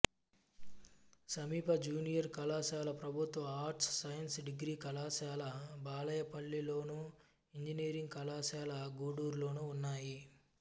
సమీప జూనియర్ కళాశాల ప్రభుత్వ ఆర్ట్స్ సైన్స్ డిగ్రీ కళాశాల బాలాయపల్లిలోను ఇంజనీరింగ్ కళాశాల గూడూరులోనూ ఉన్నాయి